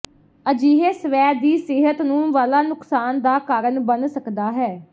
ਅਜਿਹੇ ਸਵੈ ਦੀ ਸਿਹਤ ਨੂੰ ਵਾਲਾ ਨੁਕਸਾਨ ਦਾ ਕਾਰਨ ਬਣ ਸਕਦਾ ਹੈ